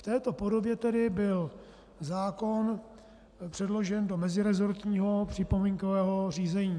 V této podobě tedy byl zákon předložen do meziresortního připomínkového řízení.